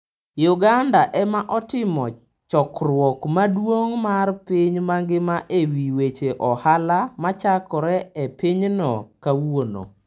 Uganda ema otimo chokruok maduong' mar piny mangima ewi weche ohala machakore e pinyno kawuono.